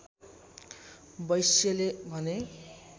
वैश्यले भने